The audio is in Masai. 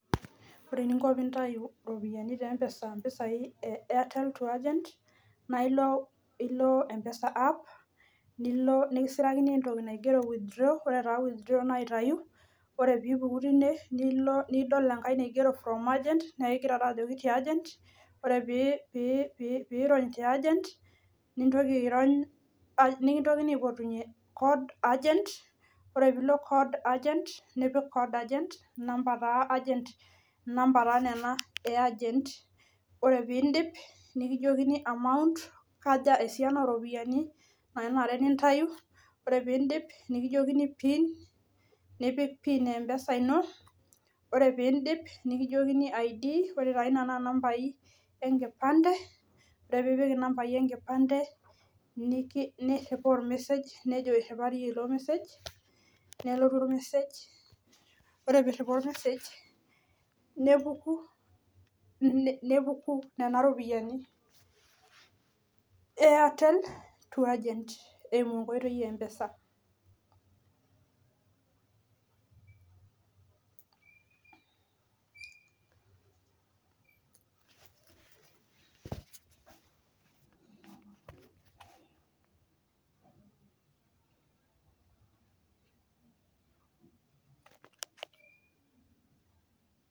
Ore eninko pintayu ropiyiani te mpesa ,mpisai e airtel to agent naa ilo, ilo mpesa app , nilo nikisirakini entoki naigero withdraw, ore taa withdrawa naa aitayu , ore pipuku tine nilo , nidol enkae naigero from agent , naa ekigira taa ajoki tiaaagent ?, ore pii pi pirony teagent , nintoki irony ,nikintokini aipotunyie code agent , ore pilo code agent, nipik code agent , inamba taa agent, inamba taa nena , ore pindip , nikijokini amount kaja esiana oropiyiani nanare nintayu, ore pindip, nikijokini pin , nipik pin empesa ino , ore pindip nikijokini ID , ore taa ina naa nambai enkipande , ore piipik inambai enkipande , niriwaa oremessage nejo etabayie ilo message, nelotu ormessege , ore piriwaa ormessage , nepuku, nepuku nena ropiyiani eairtel to agent eimu enkoitoi empesa.